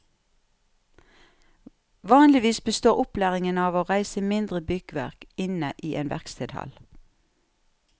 Vanligvis består opplæringen av å reise mindre byggverk inne i en verkstedhall.